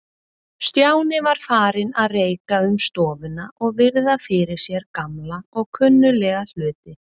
Stjáni var farinn að reika um stofuna og virða fyrir sér gamla og kunnuglega hluti.